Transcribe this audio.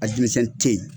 A denmisɛnni te ye